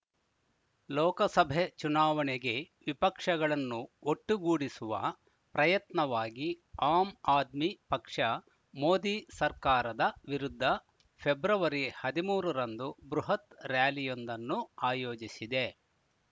ಲೋಕಸಭೆ ಚುನಾವಣೆಗೆ ವಿಪಕ್ಷಗಳನ್ನು ಒಟ್ಟುಗೂಡಿಸುವ ಪ್ರಯತ್ನವಾಗಿ ಆಮ್‌ ಆದ್ಮಿ ಪಕ್ಷ ಮೋದಿ ಸರ್ಕಾರದ ವಿರುದ್ಧ ಫೆರಂದು ಬೃಹತ್‌ ರ‍್ಯಾಲಿಯೊಂದನ್ನು ಆಯೋಜಿಸಿದೆ